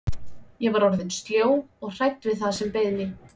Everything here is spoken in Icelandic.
Ég var orðin sljó og hrædd við það sem beið mín.